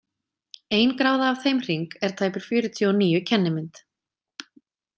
Ein gráða af þeim hring er tæpir fjörutíu og níu kennimynd